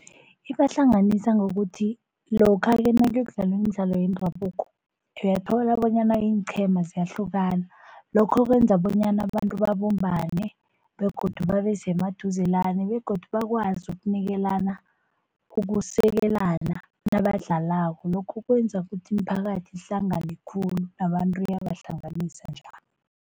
Ibahlanganisa ngokuthi lokha-ke nakuyokudlalwa imidlalo yendabuko uyathola bonyana iinqhema ziyahlukana. Lokho kwenza bonyana abantu babumbane begodu babe semaduzelana begodu bakwazi ukunikelana, ukusekelana nabadlalako. Lokho kwenza ukuthi imiphakathi ihlangane khulu nabantu iyabahlanganisa njalo.